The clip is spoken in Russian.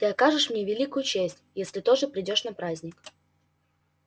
ты окажешь мне великую честь если тоже придёшь на праздник